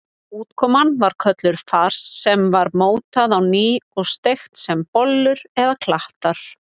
Útkoman var kölluð fars sem var mótað á ný og steikt sem bollur eða klattar.